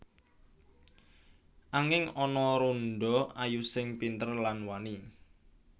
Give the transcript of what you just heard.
Anging ana randha ayu sing pinter lan wani